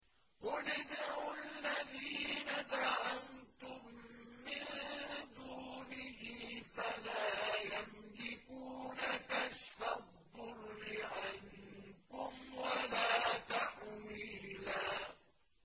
قُلِ ادْعُوا الَّذِينَ زَعَمْتُم مِّن دُونِهِ فَلَا يَمْلِكُونَ كَشْفَ الضُّرِّ عَنكُمْ وَلَا تَحْوِيلًا